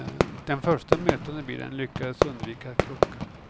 Den första mötande bilen lyckades undvika att krocka.